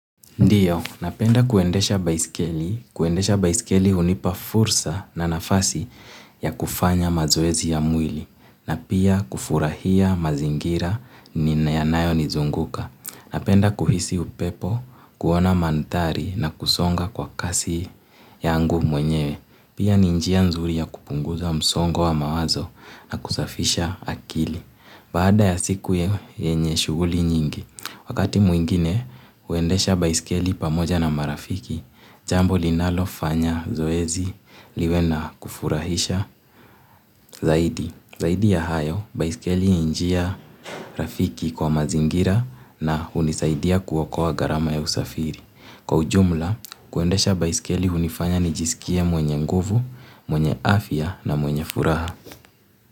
Ndiyo, napenda kuendesha baiskeli, kuendesha baiskeli hunipa fursa na nafasi ya kufanya mazoezi ya mwili, na pia kufurahia mazingira yanayonizunguka. Napenda kuhisi upepo, kuona mandhari na kusonga kwa kasi yangu mwenyewe. Pia ni njia nzuri ya kupunguza msongo wa mawazo na kusafisha akili. Baada ya siku yenye shughuli nyingi, wakati mwingine huendesha baiskeli pamoja na marafiki, jambo linalofanya zoezi liwe na kufurahisha zaidi. Zaidi ya hayo, baiskeli ni njia rafiki kwa mazingira na hunisaidia kuokoa gharama ya usafiri. Kwa ujumla, kuendesha baiskeli unifanya nijisikia mwenye nguvu, mwenye afya na mwenye furaha.